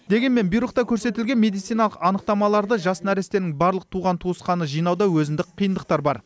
дегенмен бұйрықта көрсетілген медициналық анықтамаларды жас нәрестенің барлық туған тусқаны жинауда өзіндік қиындықтары бар